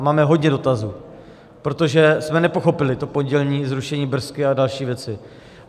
A máme hodně dotazů, protože jsme nepochopili to pondělní zrušení BRS a další věci.